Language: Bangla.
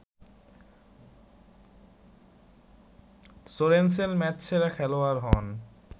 সোরেনসেন ম্যাচসেরা খেলোয়াড় হন